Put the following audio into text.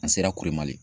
An sera kuli mali